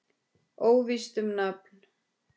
Óvíst um nafn.